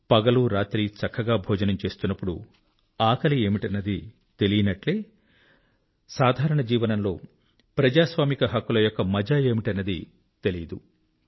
పగలూ రాత్రి చక్కగా భోజనం లభిస్తున్నప్పుడు ఆకలి ఏమిటన్నది తెలీనట్లే సాధారణ జీవనంలో ప్రజాస్వామిక హక్కుల యొక్క మజా ఏమిటన్నది తెలీదు